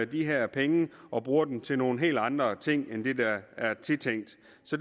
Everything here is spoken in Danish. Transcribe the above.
de her penge og bruger dem til nogle helt andre ting end det der er tiltænkt